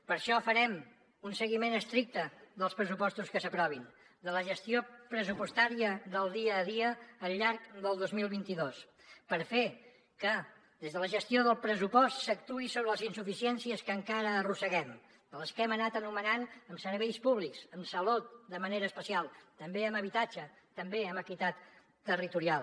per això farem un seguiment estricte dels pressupostos que s’aprovin de la gestió pressupostària del dia a dia al llarg del dos mil vint dos per fer que des de la gestió del pressupost s’actuï sobre les insuficiències que encara arrosseguem de les que hem anat anomenant en serveis públics en salut de manera especial també en habitatge també en equitat territorial